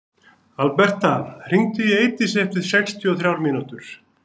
Alberta, hringdu í Eidísi eftir sextíu og þrjár mínútur.